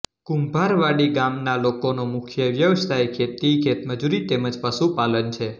કુંભારવાડી ગામના લોકોનો મુખ્ય વ્યવસાય ખેતી ખેતમજૂરી તેમ જ પશુપાલન છે